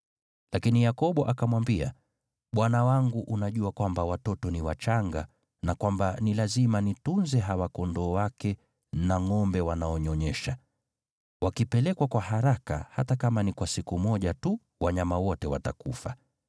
Lakini Yakobo akamwambia, “Bwana wangu unajua kwamba watoto ni wachanga na kwamba ni lazima nitunze hawa kondoo wake na ngʼombe wanaonyonyesha. Wakipelekwa kwa haraka hata kama ni kwa siku moja tu, wanyama wote watakufa.